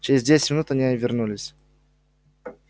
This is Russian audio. через десять минут они вернулись